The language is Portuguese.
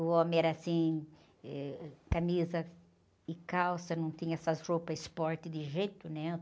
O homem era assim, eh, camisa e calça, não tinha essas roupas esporte de jeito nenhum.